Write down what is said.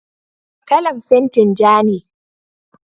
kalan fentin ja ne